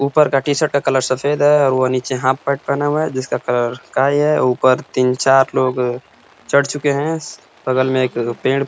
ऊपर का टीशर्ट का कलर सफेद है वो नीचे हाफ पैंट पहना हुआ है जिसका कलर काई है ऊपर तीन चार लोग चढ़ चुके हैं। बगल में एक पेड़ --